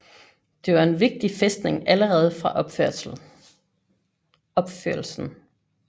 Det var en vigtig fæstning allerede fra opførelsen